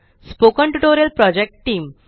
spoken tutorial project team